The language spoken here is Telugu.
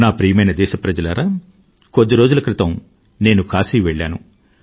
నా ప్రియమైన దేశప్రజలారా కొద్ది రోజుల క్రితం నేను కాశీ వెళ్లాను